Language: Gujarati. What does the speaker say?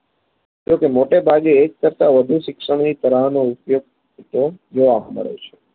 એક મોટેભાગે એક કરતા વધુ શિક્ષની તારાહનો ઉપયોગ તેમ જોવા મળે છે